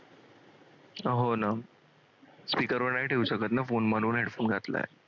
speaker वर नाही ठेवू शकत ना phone म्हणून headphone घातलाय.